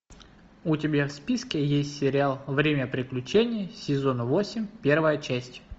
у тебя в списке есть сериал время приключений сезон восемь первая часть